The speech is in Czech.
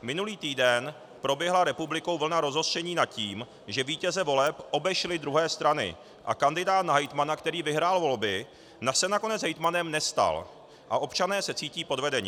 Minulý týden proběhla republikou vlna rozhořčení nad tím, že vítěze voleb obešly druhé strany a kandidát na hejtmana, který vyhrál volby, se nakonec hejtmanem nestal a občané se cítí podvedeni.